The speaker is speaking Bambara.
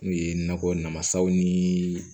N'o ye nakɔ namasaw nii